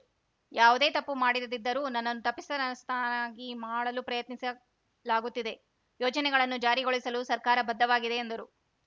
ಯಾವುದೇ ತಪ್ಪು ಮಾಡಿದಿದ್ದರೂ ನನ್ನನ್ನು ತಪ್ಪಿಸ್ಥನ್ನಾಗಿ ಮಾಡಲು ಪ್ರಯತ್ನಿಸಲಾಗುತ್ತಿದೆ ಯೋಜನೆಗಳನ್ನು ಜಾರಿಗೊಳಿಸಲು ಸರ್ಕಾರ ಬದ್ಧವಾಗಿದೆ ಎಂದರು